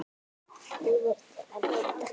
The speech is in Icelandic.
Lífið er til að njóta.